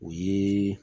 O ye